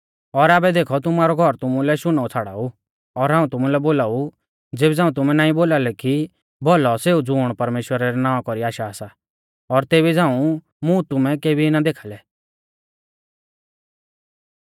और आबै देखौ तुमारौ घौर तुमुलै शुनौ छ़ाड़ाऊ और हाऊं तुमुलै बोलाऊ ज़ेबी झ़ांऊ तुमै नाईं बोलालै कि भौलौ सेऊ ज़ुण परमेश्‍वरा रै नावां कौरी आशा सा और तेबी झ़ांऊ मुं तुमै केबी ना देखाल़ै